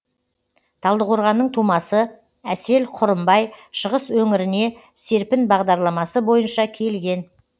талдықорғанның тумасы әсел құрымбай шығыс өңіріне серпін бағдарламасы бойынша келген